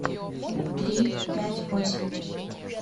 три пять восемь